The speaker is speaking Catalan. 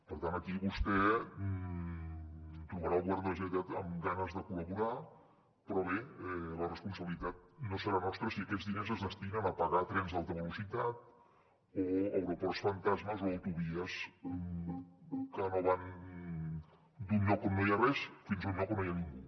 per tant aquí vostè trobarà el govern de la generalitat amb ganes de col·laborar però bé la responsabilitat no serà nostra si aquests diners es destinen a pagar trens d’alta velocitat o aeroports fantasma o autovies que van d’un lloc on no hi ha res fins a un lloc on no hi ha ningú